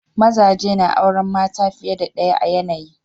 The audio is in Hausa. Mazaje na auren mata fiye da ɗaya a yanayi.